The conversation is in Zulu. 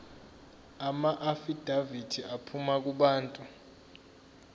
amaafidavithi aphuma kubantu